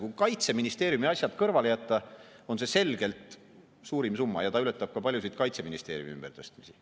Kui Kaitseministeeriumi asjad kõrvale jätta, on see selgelt suurim summa ja ta ületab ka paljusid Kaitseministeeriumi ümbertõstmisi.